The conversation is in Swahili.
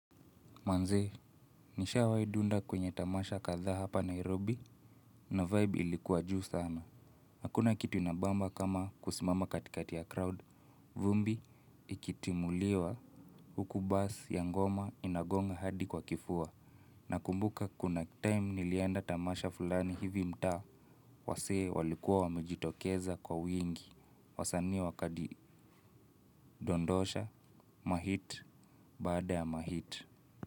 Manzee, nishawaidunda kwenye tamasha kadhaa hapa Nairobi na vibe ilikuwa juu sana. Hakuna kitu inabamba kama kusimama katikati ya crowd, vumbi ikitimuliwa huku bass ya ngoma inagonga hadi kwa kifua. Nakumbuka kuna time nilienda tamasha fulani hivi mtaa wasee walikuwa wamejitokeza kwa wingi, wasani wakadondosha, mahit, baada ya mahit.